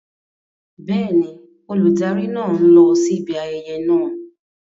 Bẹ́ẹ̀ni, olùdarí náà ń lọ síbi ayẹyẹ náà.